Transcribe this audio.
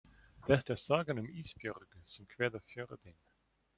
Þetta er sagan um Ísbjörgu sem kveður Fjörðinn.